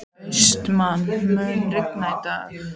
Austmann, mun rigna í dag?